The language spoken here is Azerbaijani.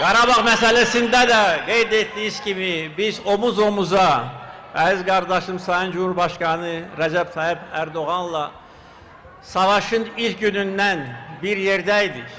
Qarabağ məsələsində də qeyd etdiyim kimi, biz omuz-omuza, əziz qardaşım, Sayın Cümhurbaşqanı Rəcəb Tayyip Ərdoğanla savaşın ilk günündən bir yerdə idik.